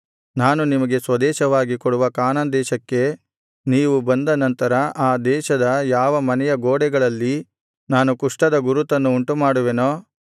ನಾನು ನಿಮಗೆ ಸ್ವದೇಶವಾಗಿ ಕೊಡುವ ಕಾನಾನ್ ದೇಶಕ್ಕೆ ನೀವು ಬಂದ ನಂತರ ಆ ದೇಶದ ಯಾವ ಮನೆಯ ಗೋಡೆಗಳಲ್ಲಿ ನಾನು ಕುಷ್ಠದ ಗುರುತನ್ನು ಉಂಟುಮಾಡುವೆನೋ